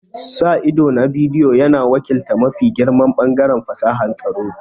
Sa ido na bidiyo yana wakiltar mafi girman ɓangaren fasahar tsaro.